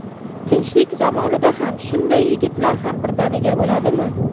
Tinchlik zamonida ham shunday yigitlar ham birdaniga o‘ladimi?”.